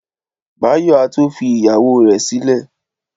Báyọ̀ á tó fi ìyàwó rẹ̀ sílẹ̀